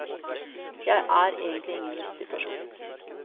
Jeg er egentlig ingen lystig person.